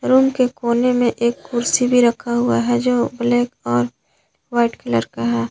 Room के कोने में एक कुर्सी भी रखा हुआ है जो ब्लैक और वाइट कलर का है।